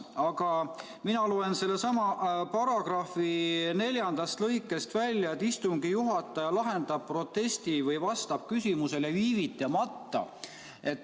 Aga mina loen sellesama paragrahvi neljandast lõikest välja, et istungi juhataja lahendab protesti või vastab küsimusele viivitamata.